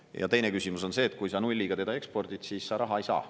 Ja teine küsimus on see, et kui sa nulliga teda ekspordid, siis sa raha ei saa.